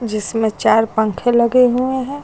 जिसमें चार पंखे लगे हुए हैं।